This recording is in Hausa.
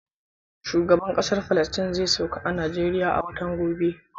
Shugaban Kasa Palestine zai sauka a Najeriya a watan gobe.